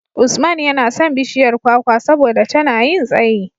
Usman yana son bishiyar kwakwa saboda tana yin tsayi.